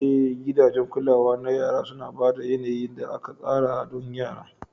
Eh, gidajen kulawa na yara suna ba da yanayin da aka tsara don yara.